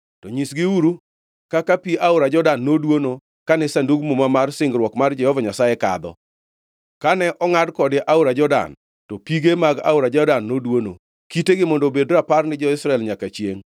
To nyisgiuru kaka pi aora Jordan noduono kane Sandug Muma mar singruok mar Jehova Nyasaye kadho. Kane ongʼad kode aora Jordan, to pige mag aora Jordan noduono. Kitegi mondo obed rapar ni jo-Israel nyaka chiengʼ.”